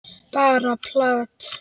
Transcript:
Bara plat.